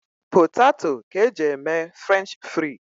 Potato ka eji e mee Frenchifrii